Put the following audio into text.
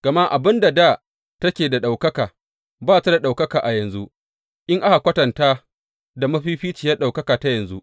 Gama abin da dā take da ɗaukaka, ba ta da ɗaukaka a yanzu, in aka kwatantata da mafificiyar ɗaukaka ta yanzu.